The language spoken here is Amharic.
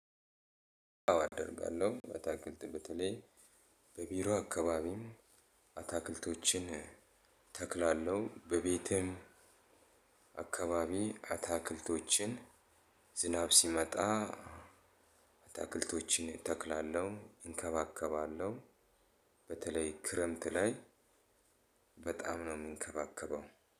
አደርጋለሁ አትክልት በተለይ በቢሮ አካባቢም አትክልቶችን እተክላለሁ በቤቴም አካባቢ አትክልቶችን ዝናብ ሲመጣ አትክልቶችን እተክላለሁ እንከባከባለሁ። በተለይ ክረምት ላይ በጣም ነው የምንከባከበው።